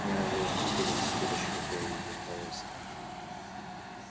мне надоело прикидываться дурочкой для её удовольствия